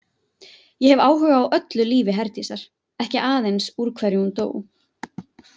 Ég hef áhuga á öllu lífi Herdísar, ekki aðeins úr hverju hún dó.